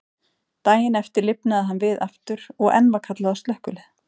Daginn eftir lifnaði hann við aftur, og enn var kallað á slökkvilið.